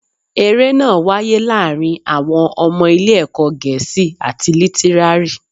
Eré náà wáyé láàárín àwọn ọmọ ilé ẹ̀kọ́ Gẹ̀ẹ́sì àti Lítírárì